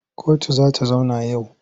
Kotu za ta zauna yau?